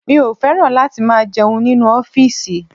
Mi ò fẹ́ràn láti máa jẹun nínú ọ́fìsì